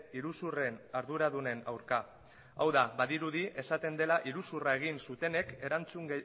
iruzurren arduradunen aurka hau da badirudi esaten dela iruzurra egin zutenek erantzun